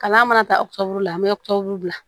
Kalan mana taa la an bɛ bila